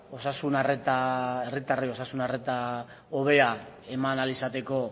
osasun arreta hobea eman ahal izateko